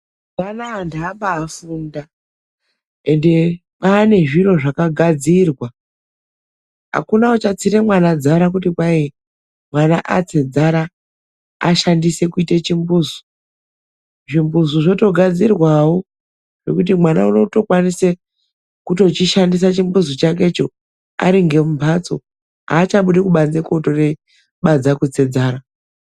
Amuna vandu vabafunda ende kwane zviro zvakaba gadzirwa akuna achanetsa mwana kuti atse dzara ashandise kuita chimbuzi ,zvimbuzi zvakugadzirwa kuti mwana akukwanisa kushandisa chimbuzi aringe mumbatso achabudi pabanze kutse dzara.